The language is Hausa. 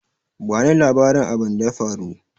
Ba ni labarin abinda ya faru!